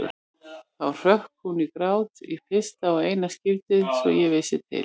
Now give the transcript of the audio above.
Þá hrökk hún í grát, í fyrsta og eina skiptið svo ég vissi til.